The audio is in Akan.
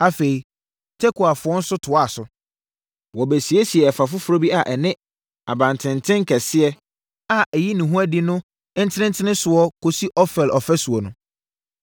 Afei, Tekoafoɔ nso toaa so. Wɔbɛsiesiee ɛfa foforɔ bi a ɛne abantenten kɛseɛ a ɛyi ne ho adi no ntentenesoɔ kɔsi Ofel ɔfasuo no.